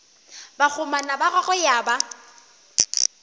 bakgomana ba gagwe ya ba